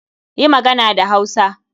Yi magana da Hausa!